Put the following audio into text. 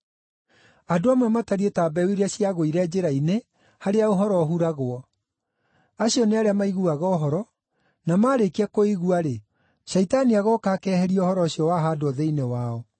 Andũ amwe matariĩ ta mbeũ iria ciagũire njĩra-inĩ harĩa ũhoro ũhuragwo. Acio nĩ arĩa maiguaga ũhoro, na maarĩkia kũigua-rĩ, Shaitani agooka akeheria ũhoro ũcio wahaandwo thĩinĩ wao.